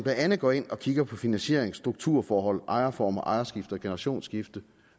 andet går ind og kigger på finansiering strukturforhold ejerformer ejerskifte og generationsskifte